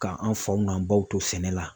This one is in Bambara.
K'an faw n'an baw to sɛnɛ la.